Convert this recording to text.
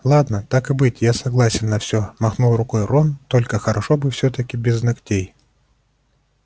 ладно так и быть я согласен на все махнул рукой рон только хорошо бы всё-таки без ногтей